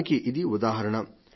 దానికి ఇది ఉదాహరణ